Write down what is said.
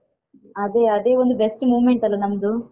ಅದೇ ಅದೇ ಒಂದು best moment ಅಲಾ ನಮ್ದು